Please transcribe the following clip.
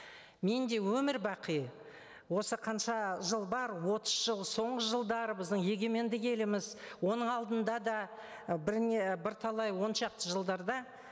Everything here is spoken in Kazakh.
мен де өмір бақи осы қанша жыл бар отыз жыл соңғы жылдары біздің егеменді еліміз оның алдында да і бірталай он шақты жылдарда